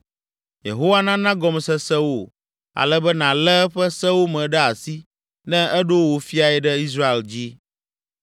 Yehowa nana gɔmesese wò ale be nàlé eƒe sewo me ɖe asi ne eɖo wò fiae ɖe Israel dzi.